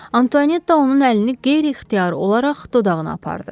Antuanetta onun əlini qeyri-ixtiyari olaraq dodağına apardı.